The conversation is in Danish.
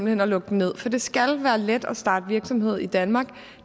hen at lukke den ned for det skal være let at starte virksomhed i danmark